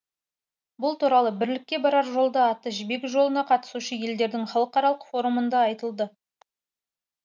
бұл туралы бірлікке барар жолда атты жібек жолына қатысушы елдердің халықаралық форумында айтылды